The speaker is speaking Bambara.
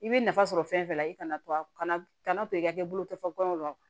I bɛ nafa sɔrɔ fɛn dɔ la i kana to a kana to i ka boloko fɔ gɔyɔ la